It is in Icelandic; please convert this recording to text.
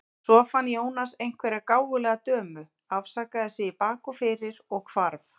Svo fann Jónas einhverja gáfulega dömu, afsakaði sig í bak og fyrir og hvarf.